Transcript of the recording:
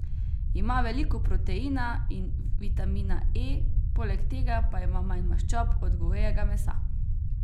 Ima veliko proteina in vitamina E, poleg tega pa ima manj maščob od govejega mesa.